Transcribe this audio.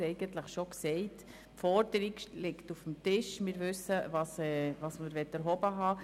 Die Forderung liegt auf dem Tisch, und wir wissen, was man erhoben haben will.